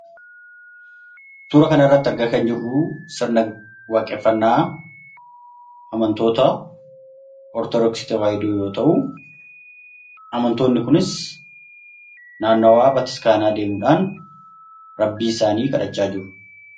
Suura kana irratti kan argaa jirru sirna waaqeffannaa amantoota Ortodoksii Tawaahidoo yoo ta'u, amantoonni kunis naannawaa mana waaqeffannaa isaanii deemuudhaan Rabbii isaanii kadhachaa jiru.